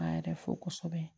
An yɛrɛ fo kosɛbɛ